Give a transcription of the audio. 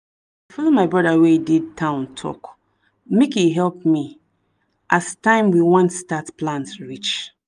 my brother wey dey town talk make e help me as time we want start plant reach